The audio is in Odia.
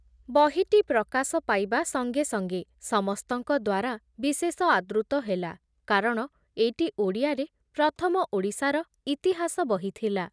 ବହିଟି ପ୍ରକାଶ ପାଇବା ସଂଗେ ସଂଗେ ସମସ୍ତଙ୍କ ଦ୍ବାରା ବିଶେଷ ଆଦୃତ ହେଲା କାରଣ ଏଇଟି ଓଡ଼ିଆରେ ପ୍ରଥମ ଓଡ଼ିଶାର ଇତିହାସ ବହି ଥିଲା ।